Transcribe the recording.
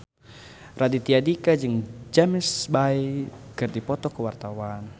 Raditya Dika jeung James Bay keur dipoto ku wartawan